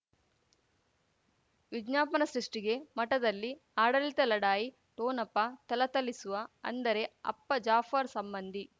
ವಿಜ್ಞಾಪನೆ ಸೃಷ್ಟಿಗೆ ಮಠದಲ್ಲಿ ಆಡಳಿತ ಲಢಾಯಿ ಠೊಣಪ ಥಳಥಳಿಸುವ ಅಂದರೆ ಅಪ್ಪ ಜಾಫರ್ ಸಂಬಂಧಿ